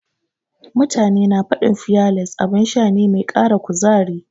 Mutane na faɗin fiyales abin sha ne mai ƙara kuzari.